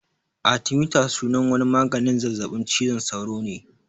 Artimiter sunan wani maganin zazzaɓin cizon sauro ne